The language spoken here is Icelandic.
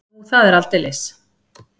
Nú, það er aldeilis.